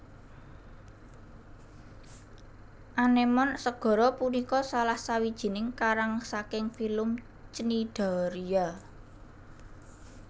Anémon segara punika salah sawijining karang saking filum Cnidaria